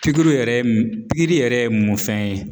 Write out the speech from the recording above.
Pikiriw yɛrɛ m pikiri yɛrɛ ye mun fɛn ye?